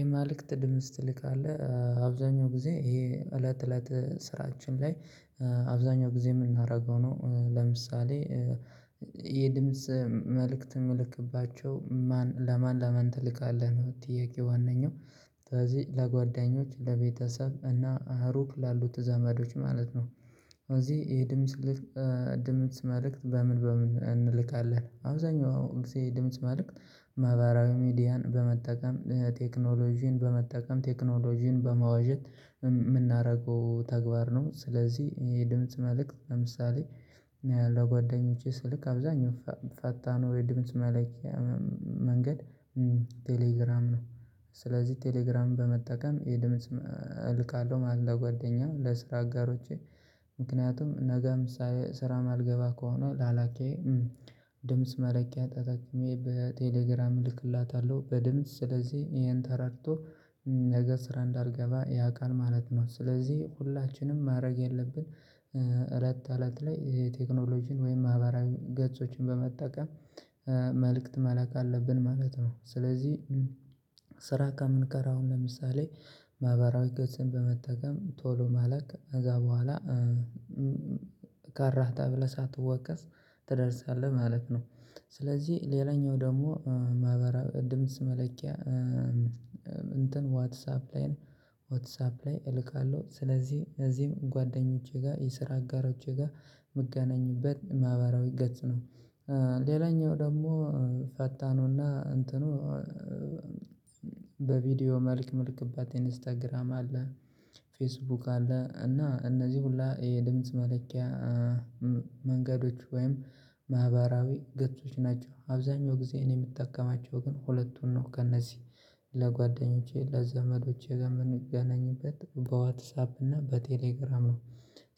የመልክት ድምጽ ትልካለህ። አብዛኛው ጊዜ ይሄ እለት እለት ስራችን ላይ አብዛኛው ጊዜ የምናደርገው ነው። ለምሳሌ የድምጽ መልእክት የምልክባቸው ማን ለማን ለማን ትልካለህ ነው ጥያቄ ዋነኛው ስለዚህ ለጓደኞች ለቤተሰብ እና ሩቅ ላሉት ዘመዶች ማለት ነው። እዚህ የድምጽ ድምጽ መልእክት በምን በምን እንልካለን? አብዛኛው ጊዜ የድምጽ መልእክት ማህበራዊ ሚዲያን በመጠቀም ቴክኖሎጂን በመጠቀም ቴክኖሎጂን በመዋዠት የምናደርገው ተግባር ነው። ስለዚህ የድምጽ መልእክት ለምሳሌ ለጓደኞቼ ስልክ አብዛኛው ፈታኑ ነው የድምጽ መለኪያት መንገድ ቴሌግራም ነው። ስለዚህ ቴሌግራም በመጠቀም የድምጽ እልካለሁ ማለት ለጓደኛዬ ለስራ አጋሮቼ ምክንያቱም ነገ ምሳሌ ስራ የማልገባ ከሆነ ላላኬ ድምጽ መለኪያ ተጠቅሜ በቴሌግራም እልክላታለሁ በድምጽ ስለዚህ ይሄን ተረድቶ ነገ ስራ እንዳልገባ ያውቃል ማለት ነው። ስለዚህ ሁላችንም ማድረግ ያለብን እለት ተእለት ላይ የቴክኖሎጂን ወይም ማህበራዊ ገጾችን በመጠቀም መልእክት መላክ አለብን ማለት ነው። ስለዚህ ስራ ከምንቀር አሁን ለምሳሌ ማህበራዊ ገጽን በመጠቀም ቶሎ መላክ ከዛ በኋላ ቀረህ ተብለህ ሳትወቀስ ትደርሳለህ ማለት ነው። ስለዚህ ሌላኛው ደግሞ ማህበራዊ ድምጽ መለኪያ እንትን ዋትሳፕ ላይም ዋትሳፕ ላይ እልካለሁ ስለዚህ እነዚህም ጓደኞቼ ጋር የስራ አጋሮቼ ጋር ምገናኝበት ማህበራዊ ገጽ ነው። ሌላኛው ደግሞ ፈታኑ እና እንትኑ በቪዲዮ መልክት ምልክበት ኢንስታግራም አለ። ፌስቡክ አለ እና እነዚህ ሁላ የድምጽ መለኪያ መንገዶች ወይም ማህበራዊ ገጾች ናቸው። አብዛኛው ጊዜ እኔ የምጠቀማቸው ግን ሁለቱን ነው ከእነዚህ ለጓደኞቼ ለዘመዶቼ የምንገናኝበት በዋትሳፕ እና በቴሌግራም ነው።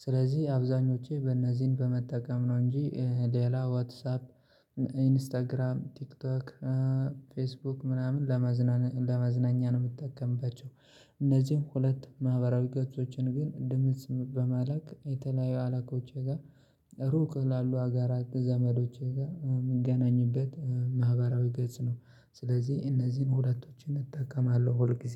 ስለዚህ አብዛኞቼ በእነዚህን በመጠቀም ነው እንጂ ሌላ ዋትሳፕ ኢንስታግራም ቲክቶክ ፌስቡክ ምናምን ለመዝናና ለመዝናኛ ነው የምትጠቀምባቸው። እነዚህም ሁለት ማህበራዊ ገጾችን ግን ድምጽ በማላክ የተለያዩ አለቆቼ ጋር ሩቅ ላሉ ሀገራት ዘመዶቼ ጋር የምገናኝበት ማህበራዊ ገጽ ነው። ስለዚህ እነዚህን ሁለቶችን እጠቀማለሁ ሁል ጊዜ።